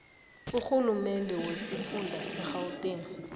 urhulumende wesifunda segauteng